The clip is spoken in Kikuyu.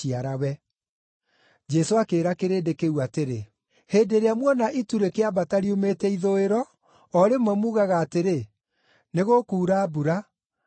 Jesũ akĩĩra kĩrĩndĩ kĩu atĩrĩ, “Hĩndĩ ĩrĩa muona itu rĩkĩambata riumĩte ithũĩro, o rĩmwe muugaga atĩrĩ, ‘Nĩgũkuura mbura,’ na gũkoira.